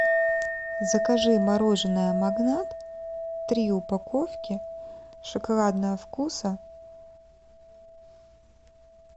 закажи мороженое магнат три упаковки шоколадного вкуса